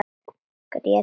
Grét bara.